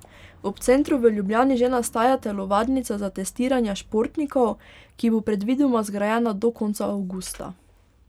Ob centru v Ljubljani že nastaja telovadnica za testiranja športnikov, ki bo predvidoma zgrajena do konca avgusta.